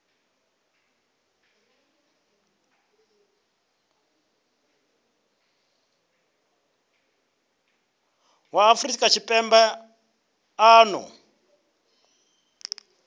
wa afrika tshipembe a ṱo